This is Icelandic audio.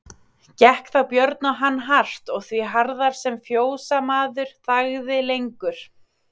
Gekk þá Björn á hann hart og því harðar sem fjósamaður þagði lengur.